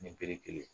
Ni bere kelen